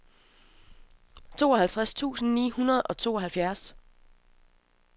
tooghalvtreds tusind ni hundrede og tooghalvfjerds